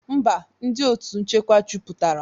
Mba, ndị otu nchekwa juputara